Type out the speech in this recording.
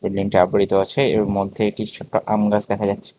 আবৃত আছে এর মধ্যে একটি ছোট্ট আমগাছ দেখা যাচ্ছে।